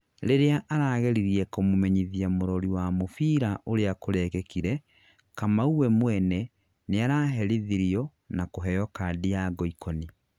rĩrĩa arageririe kumumenyithia mũrori wa mũbira ũria kũrekĩkire, Kamau we mwene nĩaraherithirio na kuheo kadi ya ngoikoni